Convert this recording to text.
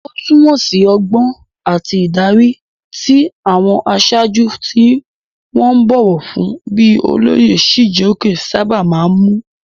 Ó túmọ̀ sí ọgbọ́n àti ìdarí, tí àwọn aṣáájú tí wọ́n bọ̀wọ̀ fún bíi olóyè Chijioke sábà máa ń mú.